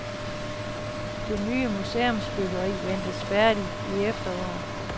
Det nye museumsbyggeri ventes færdigt i efteråret.